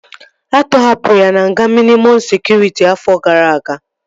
A tọhapụrụ ya na nga mịnịmọm sekụritị afọ gara aga